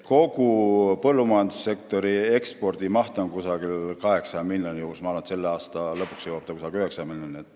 Kogu põllumajandussektori ekspordimaht on umbes 8 miljonit ja ma arvan, et selle aasta lõpuks jõuab see umbes 9 miljonini.